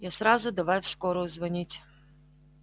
я сразу давай в скорую звонить